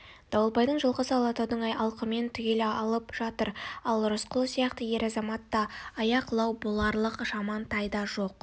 дауылбайдың жылқысы алатаудың алқымын түгел алып жатыр ал рысқұл сияқты ер-азаматта аяқ лау боларлық жаман тай да жоқ